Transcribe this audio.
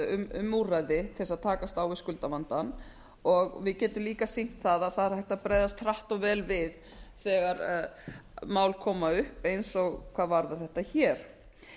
um úrræði til að takast á við skuldavandann og við getum líka sýnt að það er hægt að bregðast hratt og vel við þegar mál koma upp eins og hvað varðar þetta hér